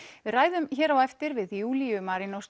við ræðum hér á eftir við Júlíu